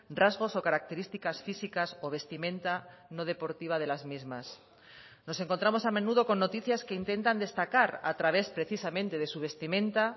rasgos o características físicas o vestimenta no deportiva de las mismas nos encontramos a menudo con noticias que intentan destacar a través precisamente de su vestimenta